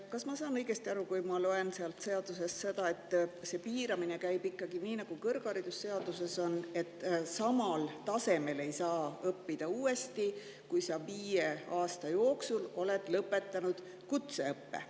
Kas ma saan õigesti aru, kui ma loen seadusest seda, et see piiramine käib ikkagi nii, nagu kõrgharidusseaduses on, et samal tasemel ei saa uuesti õppida, kui viie aasta jooksul oled lõpetanud kutseõppe.